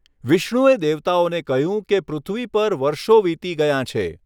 વિષ્ણુએ દેવતાઓને કહ્યું કે પૃથ્વી પર વર્ષો વીતી ગયાં છે.